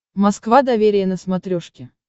москва доверие на смотрешке